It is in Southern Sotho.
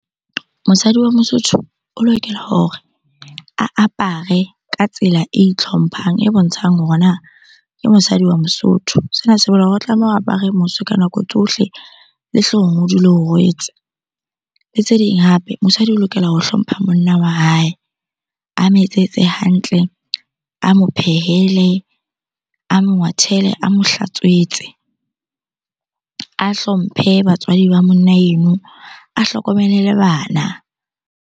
Mosadi wa mosotho o lokela hore a apare ka tsela e itlhomphang, e bontshang hore na ke mosadi wa mosotho. Sena se bolela hore o tlameha o apare mose ka nako tsohle, le hloohong o dule o rwetse, le tse ding hape. Motswadi o lokela ho hlompha monna wa hae, a mo etsetse hantle, a mo phehele, a mo ngwathele, a mo hlatswetse, a hlomphe batswadi ba monna eno, a hlokomele le bana.